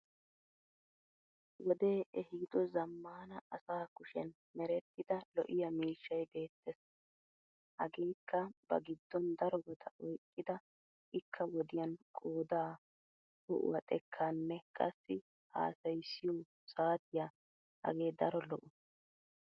Wodee ehido zammaana asa kushen merettida lo'iyaa miishshay beettes. Hageekka ba giddon darobata oyqqida ikka wodiyan qoodaa, ho'uwa xekkaanne qassi hasayissiyo saatiya hagee daro lo'o.